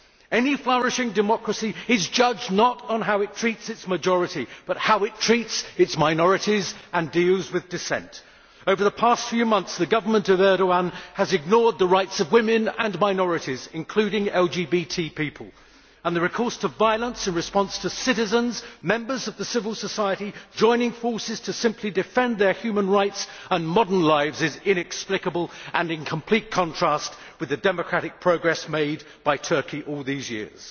Any flourishing democracy is judged not on how it treats its majority but on how it treats its minorities and deals with dissent. Over the past few months the government of Erdoğan has ignored the rights of women and minorities, including LGBT people, and the recourse to violence in response to citizens members of the civil society joining forces to simply defend their human rights and modern lives is inexplicable and in complete contrast with the democratic progress made by Turkey all these years.